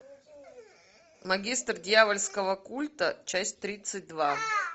магистр дьявольского культа часть тридцать два